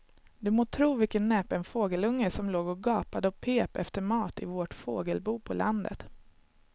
Du må tro vilken näpen fågelunge som låg och gapade och pep efter mat i vårt fågelbo på landet.